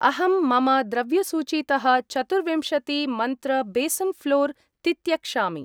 अहं मम द्रव्यसूचीतः चतुर्विंशति मन्त्र बेसन् ऴ्लोर् तित्यक्षामि।